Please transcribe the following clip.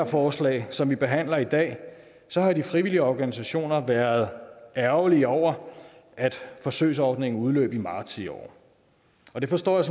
forslag som vi behandler i dag så har de frivillige organisationer været ærgerlige over at forsøgsordningen udløb i marts i år og det forstår jeg